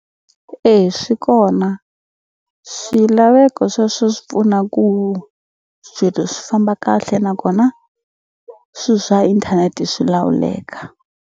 E swi kona, swilaveko sweswo swi pfuna ku swilo swi famba kahle nakona swi swa inthanete swi lawuleka.